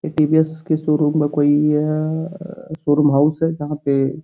ए TBS के showroom का कोई शोरूम हाउस है जहां पे --